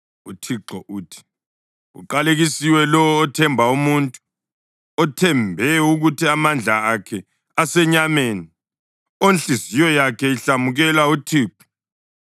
UThixo uthi: “Uqalekisiwe lowo othemba umuntu, othembe ukuthi amandla akhe asenyameni, onhliziyo yakhe ihlamukela uThixo.